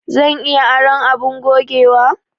Zan iya aron abin gogewa?